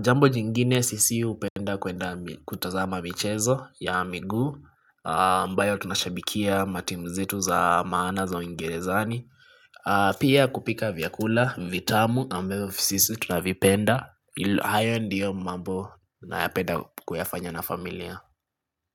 Jambo jingine sisi upenda kutazama michezo ya miguu ambayo tunashabikia ma timzetu za maana za uingerezani. Pia kupika vya kula, vitamu ambazo sisi tunavipenda. Ayo ndiyo mambo nayapenda kuyafanya na familia.